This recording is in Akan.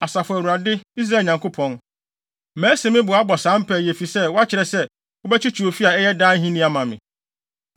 “Asafo Awurade, Israel Nyankopɔn, masi me bo abɔ saa mpae yi efisɛ woakyerɛ sɛ wobɛkyekye ofi a ɛyɛ daa ahenni ama me.